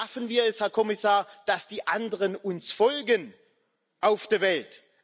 Wie schaffen wir es, Herr Kommissar, dass die anderen uns folgen auf der Welt?